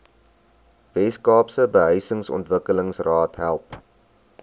weskaapse behuisingsontwikkelingsraad help